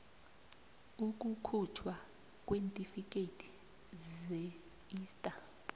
ukukhujthwa kweentifikhethi zeista